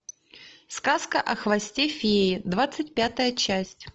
сказка о хвосте феи двадцать пятая часть